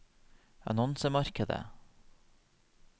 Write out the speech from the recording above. annonsemarkedet